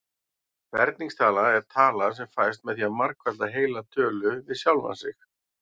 Ferningstala er tala sem fæst með því að margfalda heila tölu við sjálfa sig.